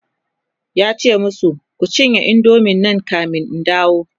yace masu "Kun cinye indomie Nan kamin in dawo!"